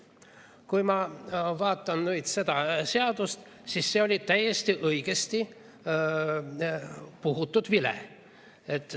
Kui ma vaatan nüüd seda seadust, siis see oli täiesti õigesti puhutud vile.